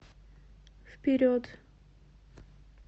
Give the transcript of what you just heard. вперед